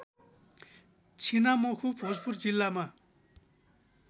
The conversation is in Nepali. छिनामखु भोजपुर जिल्लामा